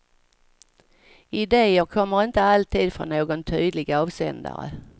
Ideer kommer inte alltid från någon tydlig avsändare.